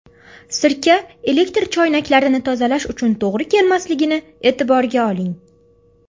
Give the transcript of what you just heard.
Sirka elektr choynaklarini tozalash uchun to‘g‘ri kelmasligini e’tiborga oling.